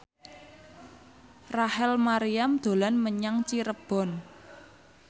Rachel Maryam dolan menyang Cirebon